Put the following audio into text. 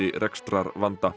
rekstrarvanda